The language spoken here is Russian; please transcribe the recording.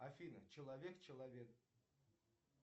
афина человек человек